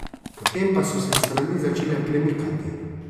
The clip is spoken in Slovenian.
Potem pa so se strani začele premikati.